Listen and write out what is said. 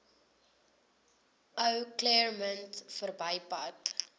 ou claremont verbypad